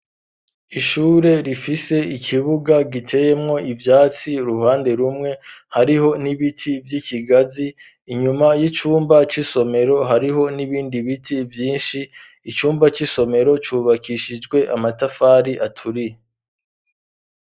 Ishure rifise ikibuga giteyemwo ivyatsi uruhande rumwe hariho n'ibiti vy'ibigazi inyuma y'icumba c'isomero hariho n'ibindi biti vyinshi icumba c'isomero cubakishijwe amatafari aturiye.